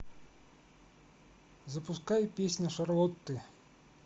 запускай песня шарлотты